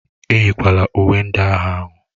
Eyịkwala uwe ndị agha ahụ!